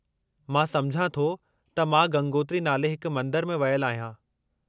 मां समुझां थो त मां गंगोत्री नाले हिकु मंदरु में वयलु आहियां।